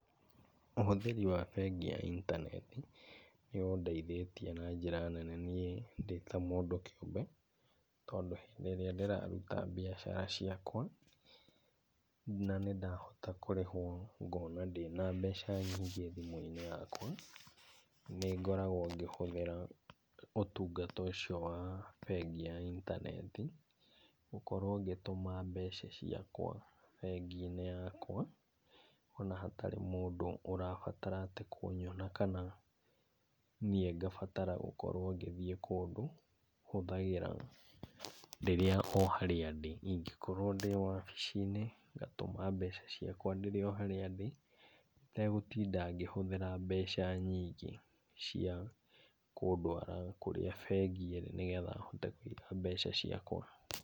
Ũhũthĩri wa bengi ya intaneti nĩ ũndeithĩtie na njĩra nene niĩ ndĩ ta mũndũ kĩũmbe tondũ rĩrĩa ndĩraruta biacara ciakwa na nĩ ndahota kũrĩhwo ngona ndĩna mbeca nyingĩ thimũ-inĩ yakwa, nĩ ngoragwo ngĩhũthĩra ũtungata ũcio wa bengi ya intaneti. Gũkorwo ngĩtuma mbeca ciakwa bengi-inĩ yakwa ona hatarĩ mũndũ ũrabatara atĩ kũnyona kana niĩ ngabatara gũkorwo ngĩthiĩ kũndũ, hũthagĩra rĩrĩa o harĩa ndĩ. ĩngĩkorwo wabici-inĩ ngatũma mbeca ciakwa ndĩ o harĩa ndĩ itegũtinda ngĩhũthĩra mbeca nyingĩ cia kũndũara kũrĩa bengi ĩrĩ nĩgetha hote kũiga mbeca ciakwa.